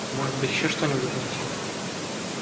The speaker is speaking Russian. может быть ещё что-нибудь найти